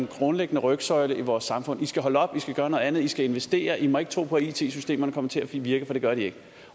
grundlæggende rygsøjlen i vores samfund i skal holde op i skal gøre noget andet i skal investere i må ikke tro på at it systemerne kommer til at virke for det gør de ikke